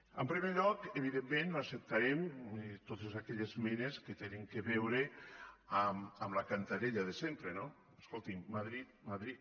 en primer lloc evidentment no acceptarem totes aquelles esmenes que tenen a veure amb la cantarella de sempre no escoltin madrid madrid